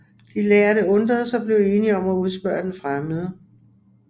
De lærde undredes og blev enige om at udspørge den fremmede